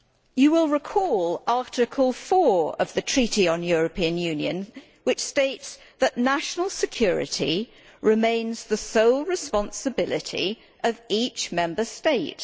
You will recall Article 4 of the Treaty on European Union, which states that national security remains the sole responsibility of each Member State'.